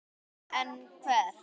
En hvert?